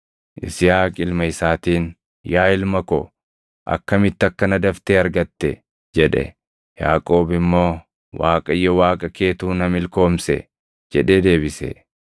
Yisihaaq ilma isaatiin, “Yaa ilma ko, akkamitti akkana daftee argatte?” jedhe. Yaaqoob immoo, “ Waaqayyo Waaqa keetu na milkoomse” jedhee deebise.